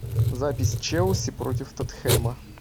запись челси против тоттенхэма